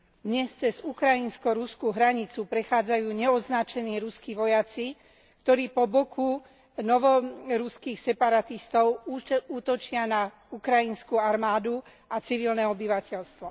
Dnes cez ukrajinsko ruskú hranicu prechádzajú neoznačení ruskí vojaci, ktorí po boku novoruských separatistov útočia na ukrajinskú armádu a civilné obyvateľstvo.